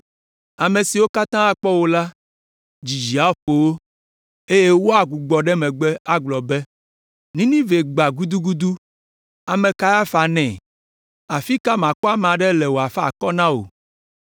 Ame siwo katã akpɔ wò la, dzidzi aƒo wo, eye woagbugbɔ ɖe megbe agblɔ be, ‘Ninive gbã gudugudu, ame ka afa nɛ?’ Afi ka makpɔ ame aɖe le wòafa akɔ na wò?”